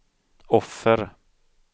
offer